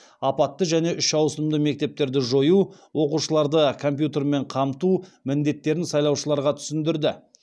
апатты және үш ауысымды мектептерді жою оқушыларды компьютермен қамту міндеттерін сайлаушыларға түсіндірді